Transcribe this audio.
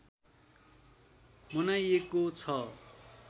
मनाइएको छ